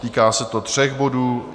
Týká se to tří bodů.